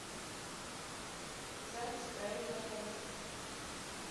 запись правильная корзинка